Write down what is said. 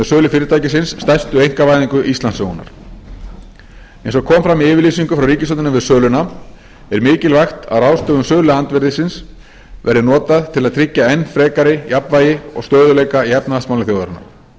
sölu fyrirtækisins stærstu einkavæðingu íslandssögunnar eins og kom fram í yfirlýsingu frá ríkisstjórninni við söluna er mikilvægt að ráðstöfun söluandvirðisins verði notað til að tryggja enn frekar jafnvægi og stöðugleika í efnahagsmálum þjóðarinnar